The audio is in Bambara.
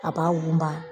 A b'a woloma